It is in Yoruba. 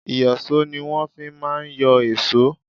Ìyọ̀ṣó ni wọ́n fi má ń yọ èṣó.